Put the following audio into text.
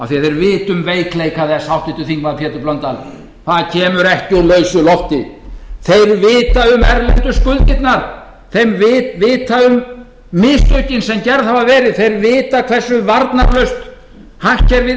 því þeir vita um veikleika þess háttvirtur þingmaður pétur blöndal það kemur ekki úr lausu lofti þeir vita um erlendu skuldirnar þeir vita um mistökin sem gerð hafa verið þeir vita hversu varnarlaust hagkerfið